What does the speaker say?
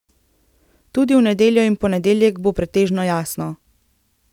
Tudi v nedeljo in ponedeljek bo pretežno jasno.